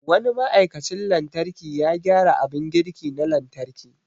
Wani ma'aikacin lantarki ya gyara abin girki na lantarki.